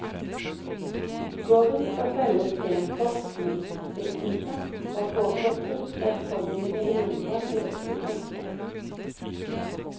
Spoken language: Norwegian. Gården skal selges til en forskningsstiftelse, og påkostes flerfoldige millioner til oppussing.